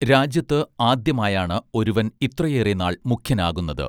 രാജ്യത്ത് ആദ്യമായാണ് ഒരുവൻ ഇത്രയേറെ നാൾ മുഖ്യൻ ആകുന്നത്